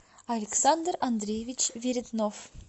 александр андреевич веретнов